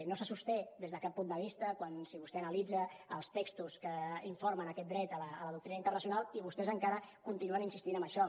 no se sosté des de cap punt de vista si vostè analitza els textos que informen aquest dret a la doctrina internacional i vostès encara continuen insistint en això